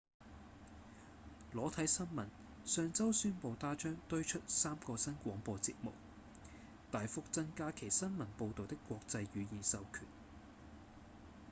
裸體新聞上週宣布它將推出三個新廣播節目大幅增加其新聞報導的國際語言授權